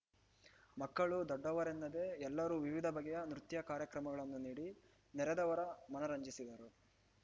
ಮಕ್ಕಳು ದೊಡ್ಡವರೆನ್ನದೆ ಎಲ್ಲರೂ ವಿವಿಧ ಬಗೆಯ ನೃತ್ಯ ಕಾರ್ಯಕ್ರಮಗಳನ್ನು ನೀಡಿ ನೆರೆದವರ ಮನರಂಜಿಸಿದರು